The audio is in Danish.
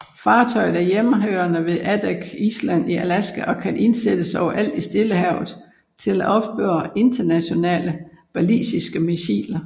Fartøjet er hjemmehørende ved Adak Island i Alaska og kan indsættes overalt i Stillehavet til at opspore interkontinentale ballistiske missiler